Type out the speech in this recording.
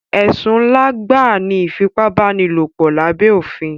Ẹ̀sùn ńlá gbáà ni ìfipábánilòpọ̀ lábé òfin.